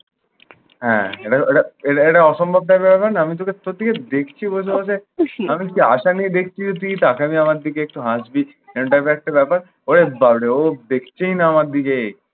হ্যাঁ, এটা এটা এইটা এইটা অসম্ভব ব্যাপার হলো না? আমি তোকে খুঁটিয়ে দেখছি বসে বসে। আমি কি আশা নিয়ে দেখছি যে তুই তাকাবি আমার দিকে, একটু হাসবি। একটা ব্যাপার। ওরে বাপরে ও দেখছেই না আমার দিকে।